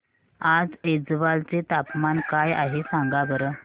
आज ऐझवाल चे तापमान काय आहे सांगा बरं